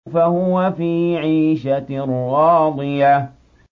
فَهُوَ فِي عِيشَةٍ رَّاضِيَةٍ